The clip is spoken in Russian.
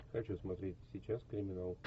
хочу смотреть сейчас криминал